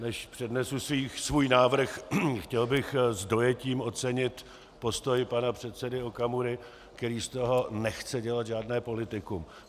Než přednesu svůj návrh, chtěl bych s dojetím ocenit postoj pana předsedy Okamury, který z toho nechce dělat žádné politikum.